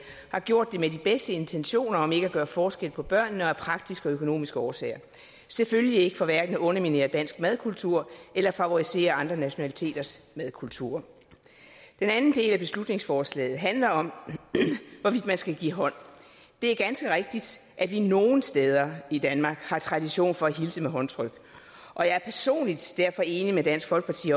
har gjort det med de bedste intentioner om ikke at gøre forskel på børnene og af praktiske og økonomiske årsager selvfølgelig ikke for at underminere dansk madkultur eller favorisere andre nationaliteters madkulturer den anden del af beslutningsforslaget handler om hvorvidt man skal give hånd det er ganske rigtigt at vi nogle steder i danmark har tradition for at hilse med håndtryk og jeg er personligt derfor enig med dansk folkeparti